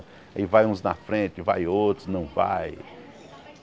E vai uns na frente, vai outros, não vai.